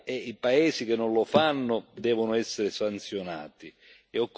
E occorre costruire un'alleanza della dignità con l'Africa.